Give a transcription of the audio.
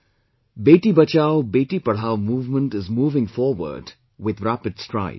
'Beti Bachao Beti Padhao' movement is moving forward with rapid strides